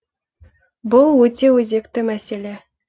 бұл өте өзекті мәселе